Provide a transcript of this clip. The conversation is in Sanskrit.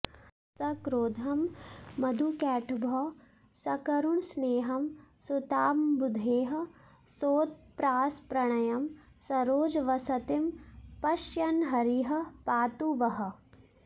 सक्रोधं मधुकैटभौ सकरुणस्नेहं सुतामम्बुधेः सोत्प्रासप्रणयं सरोजवसतिं पश्यन्हरिः पातु वः